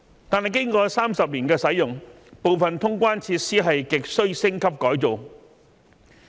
可是，經過30年的使用後，部分通關設施亟需升級改造。